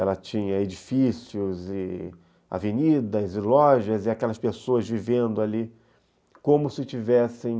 Ela tinha edifícios, avenidas e lojas, e aquelas pessoas vivendo ali como se tivessem...